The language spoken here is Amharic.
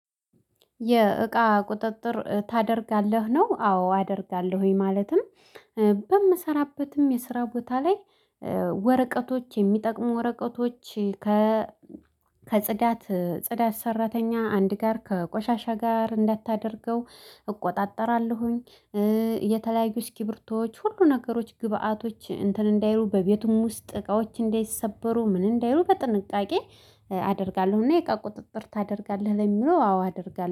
የእቃ ቁጥጥር ታደርጋለህ ነው? አዎ አደርጋለሁኝ ማለትም በምሰራበትም የስራ ቦታ ላይ ወረቀቶች የሚጠቅሙ ወረቀቶች ከ ከጽዳት ጽዳት ሰራተኛ አንድ ጋር ከቆሻሻ ጋር እንዳታደርገው እቆጣጠራለሁኝ። የተለያዩት እስኪርብርቶዎች ሁሉ ነገሮች ግብአቶች እንትን እንዳይሉ በቤቱም ውስጥ እቃዎች እንዳይሰበሩ ሰበሩ ምን እንዳይሉ በጥንቃቄ አደርጋለሁ። እና የእቃ ቁጥጥር ታደርጋለህ ለሚለው? አዎ አደርጋለሁ